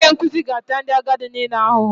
Onye nkuzi ga-ata ndị agadi niile ahụhụ